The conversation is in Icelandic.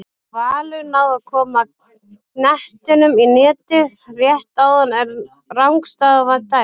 Valur náði að koma knettinum í netið rétt áðan en rangstaða var dæmd.